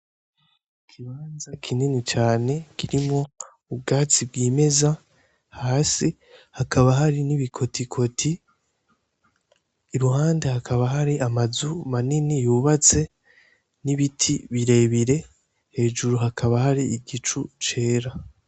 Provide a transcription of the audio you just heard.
Ikibanza kinini cane kirimwo ubwatsi bwimeza hasi hakaba hari n'ibikotikoti iruhande hakaba hari amazu manini yubatse n'ibiti birebire, hejuru hakaba hari igicu cera.